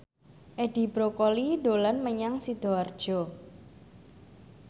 Edi Brokoli dolan menyang Sidoarjo